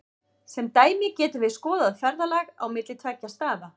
Sem dæmi getum við skoðað ferðalag á milli tveggja staða.